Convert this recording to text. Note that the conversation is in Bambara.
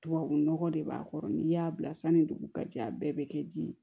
Tubabu nɔgɔ de b'a kɔrɔ n'i y'a bila sanni dugu ka jɛ a bɛɛ bɛ kɛ di ye